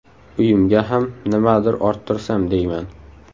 Uyimga ham nimadir orttirsam deyman.